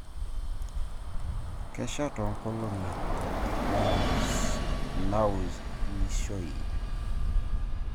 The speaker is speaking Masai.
Kesha toonkolong'i naaunishoi